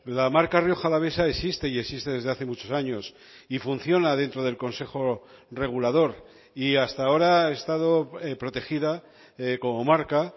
la marca rioja alavesa existe y existe desde hace muchos años y funciona dentro del consejo regulador y hasta ahora ha estado protegida como marca